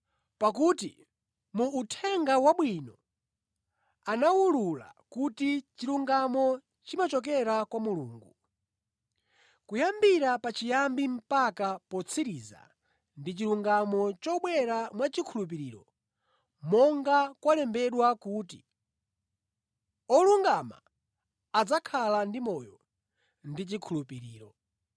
Pakuti mu Uthenga Wabwino anawulula kuti chilungamo chimachokera kwa Mulungu. Kuyambira pachiyambi mpaka potsiriza ndi chilungamo chobwera mwachikhulupiriro, monga kwalembedwera kuti, “Wolungama adzakhala ndi moyo mwachikhulupiriro.”